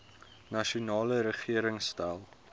nasionale regering stel